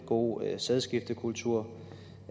god sædskiftekultur